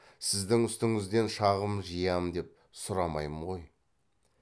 сіздің үстіңізден шағым жиям деп сұрамаймын ғой